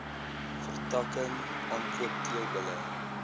vertakking aankoop teelbulle